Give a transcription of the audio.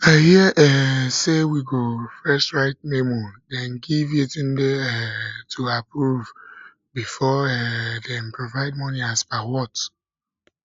i hear um say we go first write memo den give yetunde um to approve before um dem provide money as per what